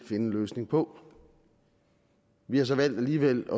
finde en løsning på vi har så valgt alligevel